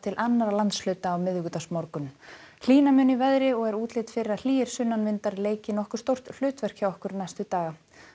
annarra landshluta á miðvikudagsmorgun hlýna mun í veðri og er útlit fyrir að hlýir sunnanvindar leiki nokkuð stórt hlutverk hjá okkur næstu daga